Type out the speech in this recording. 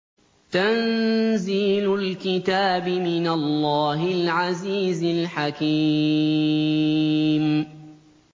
تَنزِيلُ الْكِتَابِ مِنَ اللَّهِ الْعَزِيزِ الْحَكِيمِ